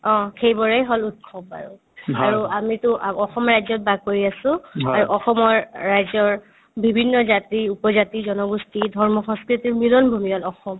অ, সেইবোৰে হ'ল উৎসৱ আৰু আৰু আমিতো আ অসম ৰাজ্যত বাস কৰি আছো আৰু অসমৰ ৰাজ্যৰ বিভিন্ন জাতি-উপজাতি জনগোষ্ঠি ধৰ্মীয় সংস্কৃতিৰ মিলন ভূমি হ'ল অসম